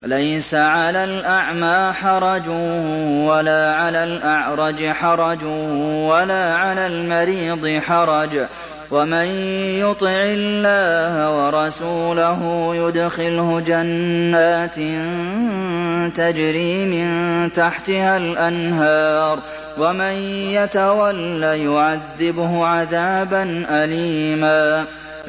لَّيْسَ عَلَى الْأَعْمَىٰ حَرَجٌ وَلَا عَلَى الْأَعْرَجِ حَرَجٌ وَلَا عَلَى الْمَرِيضِ حَرَجٌ ۗ وَمَن يُطِعِ اللَّهَ وَرَسُولَهُ يُدْخِلْهُ جَنَّاتٍ تَجْرِي مِن تَحْتِهَا الْأَنْهَارُ ۖ وَمَن يَتَوَلَّ يُعَذِّبْهُ عَذَابًا أَلِيمًا